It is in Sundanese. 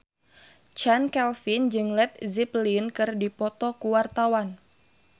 Chand Kelvin jeung Led Zeppelin keur dipoto ku wartawan